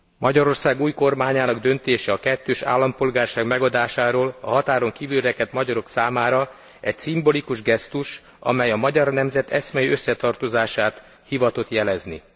Magyarország új kormányának döntése a kettős állampolgárság megadásáról a határon kívül rekedt magyarok szármára egy szimbolikus gesztus, amely a magyar nemzet eszmei összetartozását hivatott jelezni.